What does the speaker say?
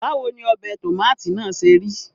Báwo ni ọbẹ̀ tòmátì náà ṣe rí?